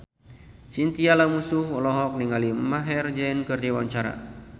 Chintya Lamusu olohok ningali Maher Zein keur diwawancara